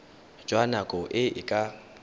jwa nako e e ka